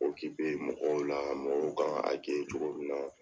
mɔgɔw la, mɔgɔw kan ka cogo min na